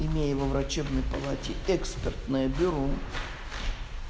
имея его врачебной палате экспертное бюро